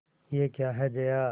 यह क्या है जया